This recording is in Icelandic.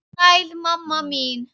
Sæl, mamma mín.